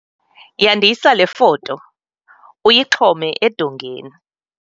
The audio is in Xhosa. Yandisa le foto, uyixhome edongeni